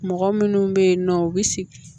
Mɔgɔ minnu bɛ yen nɔ u bɛ sigi